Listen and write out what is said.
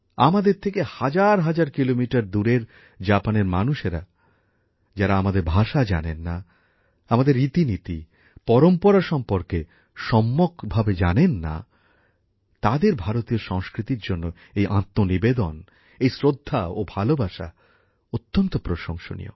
আমাদের থেকে হাজার হাজার কিলোমিটার দূরের জাপানের মানুষেরা যারা আমাদের ভাষা জানেন না আমাদের রীতিনীতি পরম্পরা সম্পর্কে সম্যক ধারণা নেই তাদের ভারতীয় সংস্কৃতির জন্য এই আত্মনিবেদন এই শ্রদ্ধা ও ভালোবাসা অত্যন্ত প্রশংসনীয়